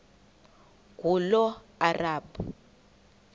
ngulomarabu